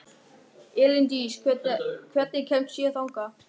Elíndís, hvernig kemst ég þangað?